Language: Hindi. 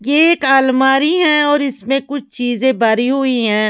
ये एक अलमारी हैऔर इसमें कुछ चीजें भरी हुई हैं।